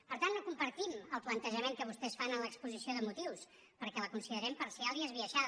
per tant no compartim el plantejament que vostès fan en l’exposició de motius perquè la considerem parcial i esbiaixada